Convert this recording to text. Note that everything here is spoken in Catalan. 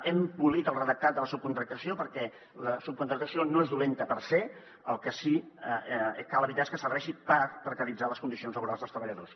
hem polit el redactat de la subcontractació perquè la subcontractació no és do·lenta per se el que sí que cal evitar és que serveixi per precaritzar les condicions la·borals dels treballadors